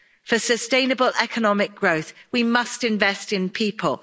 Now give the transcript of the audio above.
For sustainable economic growth, we must invest in people.